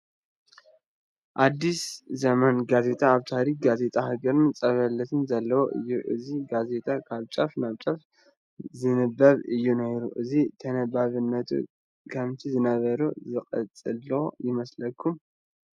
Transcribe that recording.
ኣዲስ ዘመን ጋዜጣ ኣብ ታሪክ ጋዜጣ ሃገርና ፀብለልታ ዘለዎ እዩ፡፡ እዚ ጋዜጣ ካብ ጫፍ ናብ ጫፍ ዝንበብ እዩ ነይሩ፡፡ ሕዚ ተነባብነቱ ከምቲ ዝነበረ ዝቐፀለ ዶ ይመስለኩም?